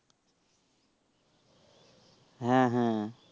হ্যাঁ হ্যাঁ